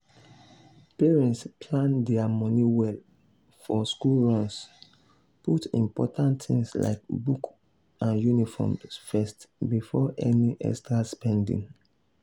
parents plan their money well for school runs put important things like books and uniforms first before any extra spending.